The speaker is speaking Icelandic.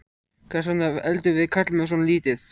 Hvers vegna eldum við karlmenn svona lítið?